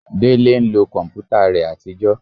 Délé ń lo kọ̀mpútà rẹ àtijọ́